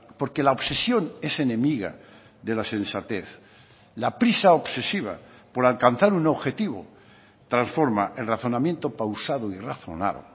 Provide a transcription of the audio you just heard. porque la obsesión es enemiga de la sensatez la prisa obsesiva por alcanzar un objetivo transforma el razonamiento pausado y razonado